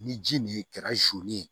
Ni ji nin kɛra